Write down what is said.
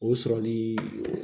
O sɔrɔli